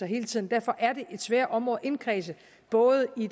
hele tiden derfor er det et svært område at indkredse både i